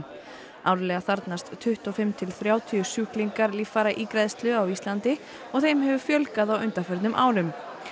árlega þarfnast tuttugu og fimm til þrjátíu sjúklingar líffæra ígræðslu á Íslandi og þeim hefur fjölgað á undanförnum árum